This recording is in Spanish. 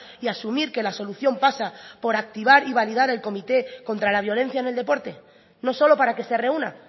y asumir que la solución pasa por activar y validar el comité contra la violencia en el deporte no solo para que se reúna